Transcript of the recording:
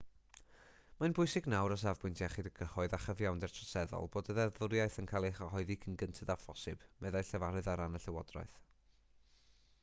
mae'n bwysig nawr o safbwynt iechyd y cyhoedd a chyfiawnder troseddol bod y ddeddfwriaeth yn cael ei chyhoeddi cyn gynted â phosibl meddai llefarydd ar ran y llywodraeth